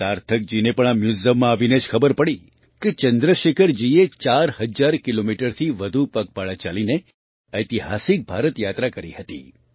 સાર્થકજીને પણ આ મ્યૂઝિયમમાં આવીને જ ખબર પડી કે ચંદ્રશેખરજીએ ૪ હજાર કિલોમીટરથી વધુ પગપાળા ચાલીને ઐતિહાસિક ભારત યાત્રા કરી હતી